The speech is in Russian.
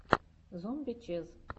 зомби чез